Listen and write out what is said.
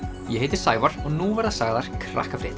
ég heiti Sævar og nú verða sagðar